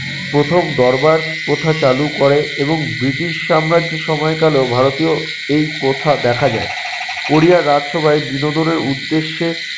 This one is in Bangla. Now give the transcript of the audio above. প্রথম দরবার প্রথা চালু করে এবং ব্রিটিশ সাম্রাজ্য সময়কালেও ভারতীয় এই প্রথা দেখা যায়। কোরিয়ার রাজসভায় বিনোদন এর উদ্দেশ্যে